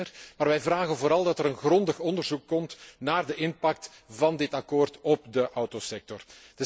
OK, die zijn er, maar wij vragen vooral dat er een grondig onderzoek komt naar de impact van dit akkoord op de autosector.